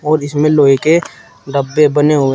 और इसमें लोहे के डब्बे बने हुए हैं।